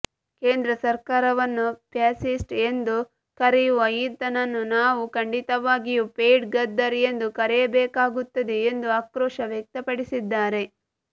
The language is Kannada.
ಕೇಂದ್ರ ಸರ್ಕಾರವನ್ನು ಫ್ಯಾಸಿಸ್ಟ್ ಎಂದು ಕರೆಯುವ ಈತನನ್ನು ನಾವು ಖಂಡಿತವಾಗಿಯೂ ಪೇಯ್ಡ್ ಗದ್ದರ್ ಎಂದು ಕರೆಯಬೇಕಾಗುತ್ತದೆ ಎಂದು ಆಕ್ರೋಶ ವ್ಯಕ್ತಪಡಿಸಿದ್ದಾರೆ